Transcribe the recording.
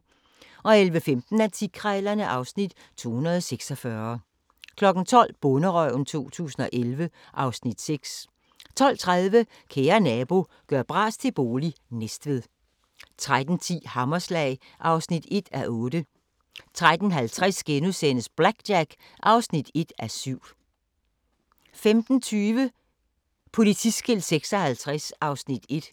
11:15: Antikkrejlerne (Afs. 246) 12:00: Bonderøven 2011 (Afs. 6) 12:30: Kære nabo – gør bras til bolig – Næstved 13:10: Hammerslag (1:8) 13:50: BlackJack (1:7)* 15:20: Politiskilt 56 (Afs. 1)